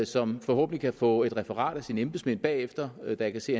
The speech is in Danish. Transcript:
som forhåbentlig kan få et referat af sine embedsmænd bagefter da jeg kan se